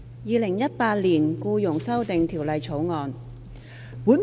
《2018年僱傭條例草案》。